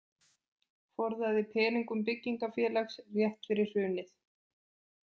Forðaði peningum byggingarfélags rétt fyrir hrunið